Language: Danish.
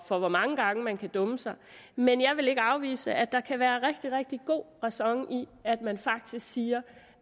for hvor mange gange man kan dumme sig men jeg vil ikke afvise at der kan være rigtig rigtig god ræson i at man faktisk siger